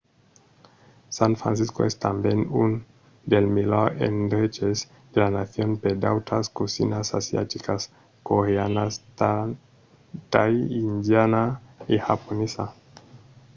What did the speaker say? san francisco es tanben un dels melhors endreches de la nacion per d'autras cosinas asiaticas: coreana tai indiana e japonesa